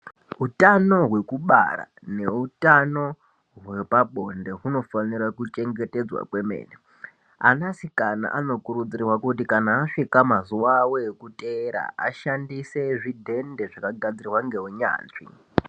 Utano hweku bara ne utano hwepa bonde unofanira ku chengetedzwa kwemene ana sikana anokurudzirwa kuti kana asvika mazuva avo eku teera ashandise zvidhende zvaka gadzirwa nge unyanzvi.